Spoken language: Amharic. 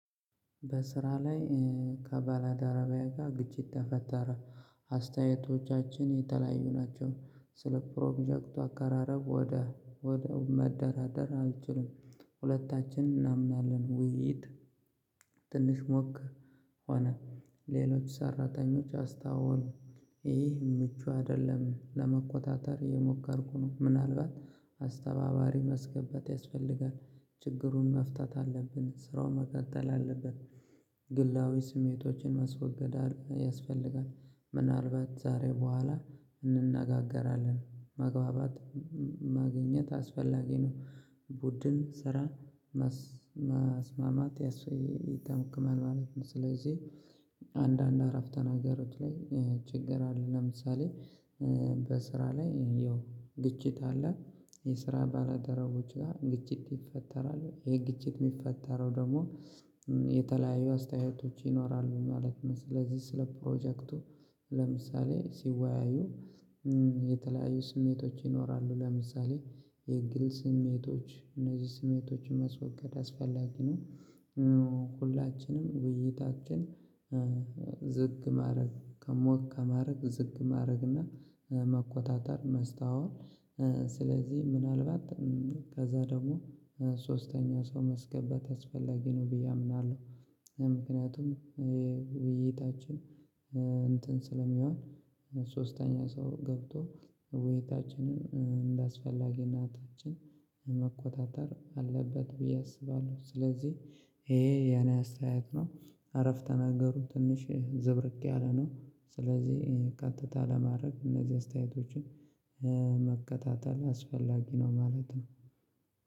በስራ ላይ ከባለደረቢየ ጋር ግጭት ተፈጠረ። አስተያየቶቻችን የተለያዩ ናቸው ስለ ፕሮጀክቱ አቀራረብ ወደ ወደ መደራደር አልችልም ሁለታችን እናምናለን ውይይት። ትንሽ ሞቅ ሆነ ሌሎች ሰራተኞች አስታዋሉ። ይህ ምቹ አይደለም ለመቆጣጠር እየሞከርኩ ነው። ምናልባት አስተባባሪ ማስገባት ያስፈልጋል። ችግሩን መፍታት አለብን ስራውን መቀጠል አለብን። ግላዊ ስሜቶችን መስወገድ ያስፈልጋል። ምናልባት ዛሬ በኋላ መግባባት ማግኘት አስፈላጊ ነው። ቡድን ስራ ማስማማት ያስፈልጋል። ስለዚህ አንዳንድ አረፍ ተገሮች ላይ ችግር አለ። ለምሳሌ በስራ ላይ ያው ግጭት አለ። የስራ ባልደረቦች ጋር ግጭት ይፈጠራሉ ግጭት የሚፈጠረው ደግሞ የተለያዩ አስተያየቶች ይኖራሉ ማለት ነው። ስለዚህ ስለ ፕሮጀክቱ ለምሳሌ ሲወያዩ የተለያዪ ስሜቶች ይኖራሉ። ለምሳሌ የግል ስሜቶች እነዚህ ስሜቶችን ማስወገድ አስፈላጊ ነው። ሁላችንም ውይይታችን ዝግ ማድረግ ሞቅ ከማድረግ ዝቅ ማድረግ እና መቆጣጠር ማስተዋል። ስለዚህ ምናልባት ከዛ ደግሞ ሶስተኛ ሰው ማስገባት አስፈላጊ ነው ብዬ አምናለሁ። ውይይታችን እንትን ስለሚያየው ሶስተኛ ሰው ገብቶ ወይታችንን እንደአስፈላጊነታቸው መቆጣጠር አለበት ብዬ አስባለሁ። ስለዚህ ይሄ የኔ አስተያየት ነው። አረፍተ ነገሩት ትንሽ ዝብርቅ ያለ ነው። ስለዚህ ቀጥታ ለማድረግ እነዚህ አስተያየቶችን መከታተል አስፈላጊ ነው ማለት ነው።